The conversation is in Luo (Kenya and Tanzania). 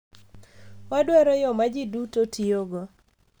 Wadwaro yo ma ji duto tiyogo.